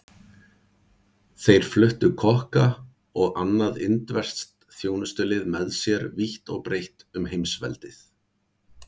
Þeir fluttu kokka og annað indverskt þjónustulið með sér vítt og breitt um heimsveldið.